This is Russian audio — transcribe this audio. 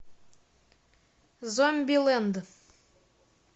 зомбилэнд